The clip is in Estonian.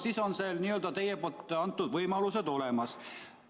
Siis on need teie poolt antud võimalused olemas.